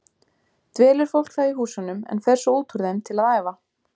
Dvelur fólk þá í húsunum en fer svo út úr þeim til að æfa.